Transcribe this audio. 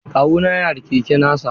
Kawuna yana da keke nasa.